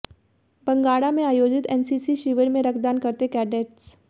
बंगाणा में आयोजित N C C शिविर में रक्तदान करते कैडेट्स